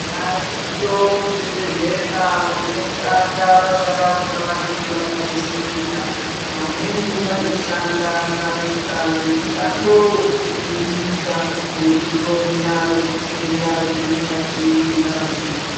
Variyo muzvibhedhlera vanoshanda basa ravo ravanenge vakanofunda. Vamweni vanoshanda basa remushando wokudzivirira nekuhloya zvitenda zviri mukati mengazi.